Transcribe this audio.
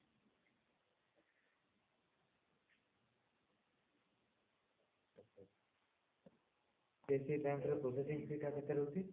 ICIC bank ର processing fee କେତେ ରହୁଛି